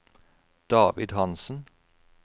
David Hansen